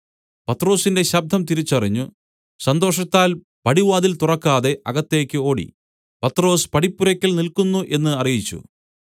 പത്രൊസിന്റെ ശബ്ദം തിരിച്ചറിഞ്ഞു സന്തോഷത്താൽ പടിവാതിൽ തുറക്കാതെ അകത്തേക്ക് ഓടി പത്രൊസ് പടിപ്പുരയ്ക്കൽ നില്ക്കുന്നു എന്ന് അറിയിച്ചു